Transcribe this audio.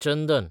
चंदन